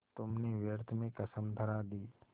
तुमने व्यर्थ में कसम धरा दी